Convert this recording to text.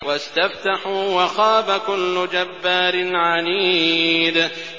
وَاسْتَفْتَحُوا وَخَابَ كُلُّ جَبَّارٍ عَنِيدٍ